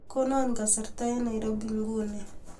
Kono kasarta eng Nairobi nguni